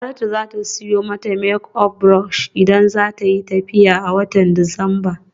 Saratu za ta siyo mata make up brush idan za ta yi tafiya a watan Disamba.